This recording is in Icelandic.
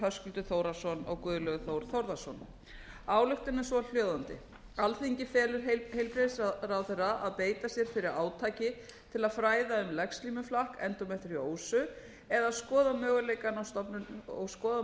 höskuldur þórhallsson og guðlaugur þór þórðarson ályktunin er svo hljóðandi alþingi felur heilbrigðisráðherra að beita sér fyrir átaki til að fræða um legslímuflakk og skoða möguleikann